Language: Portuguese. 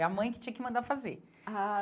E a mãe que tinha que mandar fazer. Ah